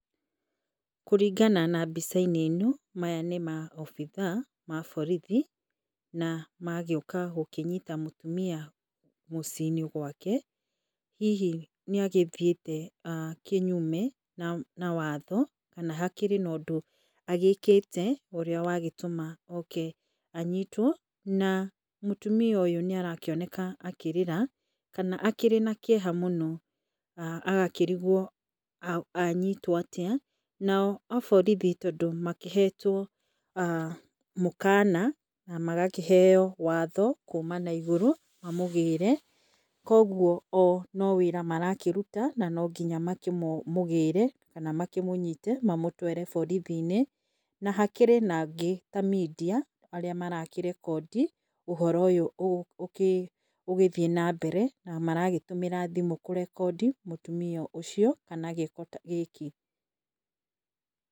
Kũringana na mbica-inĩ no maya nĩ maobitha ma borithi na magagĩũka gũkĩnyita mũtumia mũciĩ -inĩ gwake hihi nĩagĩthiĩte kĩnyume na watho kana hakĩrĩ na ũndũ agĩkĩte ũrĩa wagĩtũma oke anyitwo na mũtumia ũyũ nĩarakĩonekana akĩrĩra kana akĩrĩ na kĩeha mũno ah agakĩrigwo anyitwo atĩa nao aborithi tondũ makĩhetwo mũũkana na magakĩheo watho kuma na igũrũ mamũgĩre koguo o no wĩra marakĩruta na nonginya makĩmũgĩre kana makĩmũnyite mamũtware borithi inĩ na hakĩrĩ na angĩ ta media arĩa marakĩrekondi ũhoro ũyũ ũgĩthiĩ na mbere na maragĩtũmĩra thimũ kũrekondi mũtumia ũcio kana gĩko gĩkĩ.